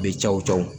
Bɛ cawo cawo